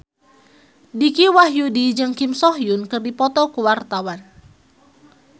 Dicky Wahyudi jeung Kim So Hyun keur dipoto ku wartawan